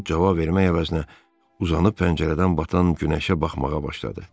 Ovod cavab vermək əvəzinə uzanıb pəncərədən batan günəşə baxmağa başladı.